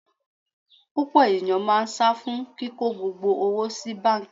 Púpọ̀ ènìyàn máa sá fún kíko gbogbo owó sí báńkì.